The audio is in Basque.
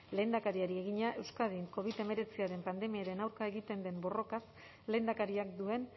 lehendakariari egina euskadin covid hemeretziaren pandemiaren aurka egiten den borrokaz lehendakariak duen